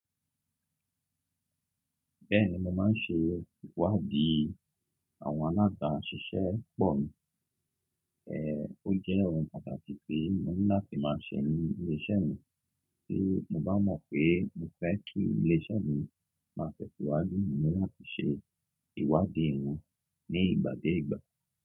Bẹ́ẹ̀ni mo máa ń ṣe ìwádìí àwọn alábaaṣíṣepọ̀ mi, eh ó jẹ́ ohun pàtàkì pé mo níláti máa ṣẹ́ ní ilé iṣẹ́ mi. Bí mo bá mọ̀ pé mo fẹ́ kí ilé iṣẹ́ mi máa tẹ́ sìwáju mi, mo níláti ṣe ìwádìí wọn ní ìgbà dé ìgbà.